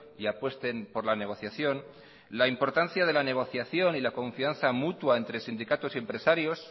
y apuesten por la negociación la importancia de la negociación y la confianza mutua entre sindicatos y empresarios